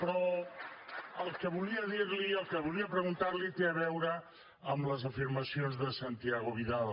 però el que volia dir li el que volia preguntar li té a veure amb les afirmacions de santiago vidal